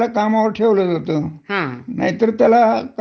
तिथ तुमचा मालक जोपर्यंत खुश आहे